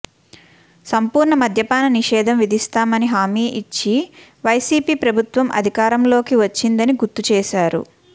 సంపూర్ణ మద్యపాన నిషేధం విధిస్తామని హామీ ఇచ్చి వైసీపీ ప్రభుత్వం అధికారంలోకి వచ్చిందని గుర్తు చేశారు